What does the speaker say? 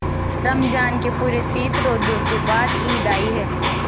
रमज़ान के पूरे तीस रोजों के बाद ईद आई है